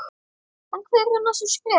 En hver eru næstu skref?